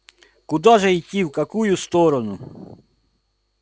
куда же идти в какую сторону